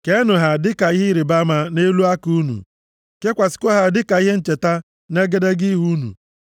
Keenụ ha dịka ihe ịrịbama nʼelu aka unu, kekwasịkwa ha dịka ihe ncheta nʼegedege ihu unu.